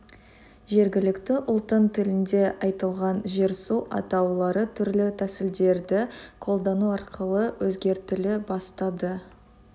жергілікті ұлттың тілінде айтылған жер-су атаулары түрлі тәсілдерді қолдану арқылы өзгертіле бастады